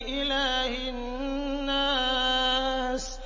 إِلَٰهِ النَّاسِ